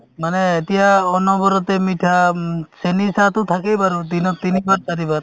মানে এতিয়া অনবৰতে মিঠা উম চেনী চাহতো থাকেই বাৰু দিনত তিনিবাৰ চাৰিবাৰ